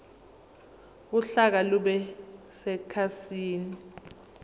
uhlaka lube sekhasini